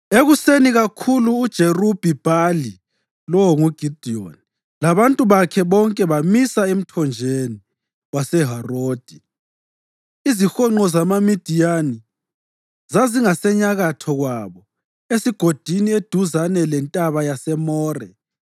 Ekuseni kakhulu uJerubhi-Bhali (lowo nguGidiyoni) labantu bakhe bonke bamisa emthonjeni waseHarodi. Izihonqo zamaMidiyani zazingasenyakatho kwabo esigodini eduzane lentaba yaseMore.